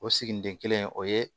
O siginiden kelen o ye